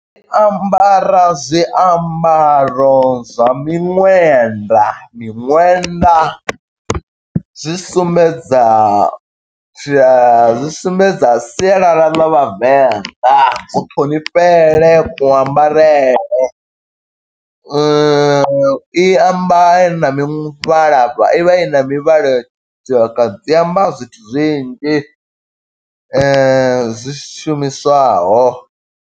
Ambara zwiambaro zwa miṅwenda, miṅwenda zwi sumbedza zwi a zwi sumbedza sialala ḽa Vhavenḓa, ku ṱhonifhele, ku ambarele. I amba na muvhalavha i vha i na mivhala . I a amba zwithu zwinzhi, zwi shumiswaho.